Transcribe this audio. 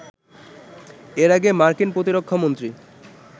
এর আগে মার্কিন প্রতিরক্ষামন্ত্রী